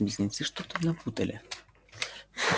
близнецы что-то напутали